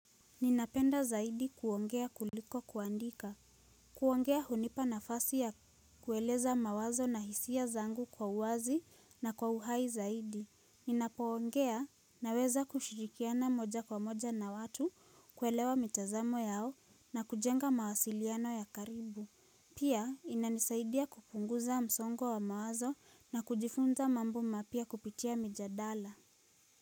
Ninapenda zaidi kuongea kuliko kuandika kuongea hunipa nafasi ya kueleza mawazo na hisia zangu kwa uwazi na kwa uhai zaidi Ninapoongea naweza kushirikiana moja kwa moja na watu kuelewa mitazamo yao na kujenga mawasiliano ya karibu Pia inanisaidia kupunguza msongo wa mawazo na kujifunza mambo mapya kupitia mijadala.